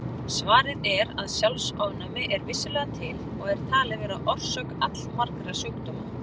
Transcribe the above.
Svarið er að sjálfsofnæmi er vissulega til og er talið vera orsök allmargra sjúkdóma.